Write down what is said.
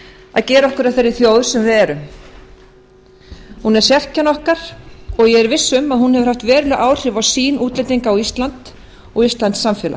að gera okkur að þeirri þjóð sem við erum hún er sérkenni okkar og ég er viss um að hún hefur haft veruleg áhrif á sýn útlendinga á ísland og íslenskt samfélag